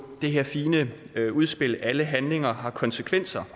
det her fine udspil alle handlinger har konsekvenser